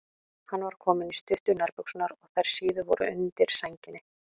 Hann var kominn í stuttu nærbuxurnar og þær síðu voru undir sænginni.